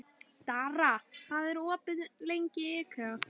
Dara, hvað er opið lengi í IKEA?